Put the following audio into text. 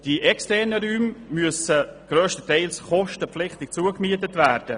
Die externen Räume müssen grösstenteils kostenpflichtig gemietet werden.